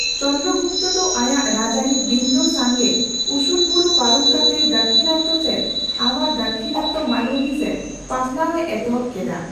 ᱪᱚᱱᱫᱨᱚᱜᱩᱯᱛᱚ ᱫᱚ ᱟᱭᱟᱜ ᱨᱟᱡᱟᱹᱨᱤ ᱵᱤᱱᱫᱷᱚ ᱥᱟᱝᱜᱮ ᱩᱥᱩᱞᱵᱩᱨᱩ ᱯᱟᱨᱚᱢ ᱠᱟᱛᱮ ᱫᱟᱠᱦᱤᱱ ᱥᱮᱪ ᱟᱟᱨ ᱰᱟᱠᱦᱤᱱᱟᱛᱛᱚ ᱢᱟᱞᱣᱩᱢᱤ ᱥᱮᱪ ᱯᱟᱥᱱᱟᱣᱼᱮ ᱮᱛᱚᱦᱚᱯ ᱠᱮᱫᱟ ᱾